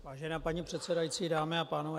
Vážená paní předsedající, dámy a pánové.